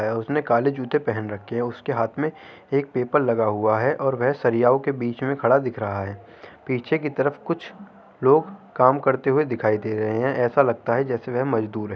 उसने काले जूते पहन रखे हैं उसके हाथ में एक पेपर लगा हुआ है और वह सरियाओं के बीच में खड़ा दिख रहा है पीछे कि तरफ कुछ लोग काम करते हुए दिखाई दे रहे हैं ऐसा लगता है जैसे वह मजदूर हैं।